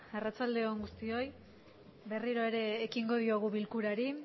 arratsaldeon guztioi berriro ere ekingo diogu bilkurari